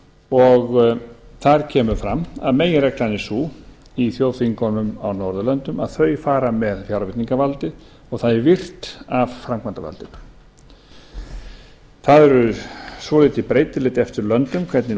og þar kemur fram að meginreglan er sú í þjóðþingunum á norðurlöndum að þau fara með fjárveitingavaldið og það er virt af framkvæmdarvaldinu það er svolítið breytilegt eftir löndum hvernig